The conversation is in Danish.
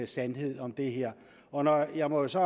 sandhed om det her jeg må jo så